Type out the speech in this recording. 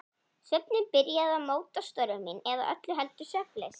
Svefninn byrjaði að móta störf mín- eða öllu heldur svefnleysið.